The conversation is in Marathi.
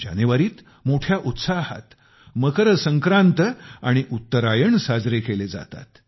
जानेवारीत मोठ्या उत्साहात मकरसंक्रांत आणि उत्तरायण साजरे केले जातात